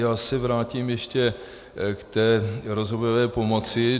Já se vrátím ještě k té rozvojové pomoci.